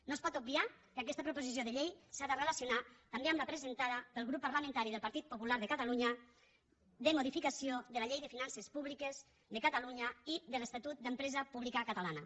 no es pot obviar que aquesta proposició de llei s’ha de relacionar també amb la presentada pel grup parlamentari del partit popular de catalunya de modificació de la llei de finances públiques de catalunya i de l’estatut de l’empresa pública catalana